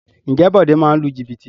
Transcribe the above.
Ǹjẹ́ Bode máa ń lu jìbìtì?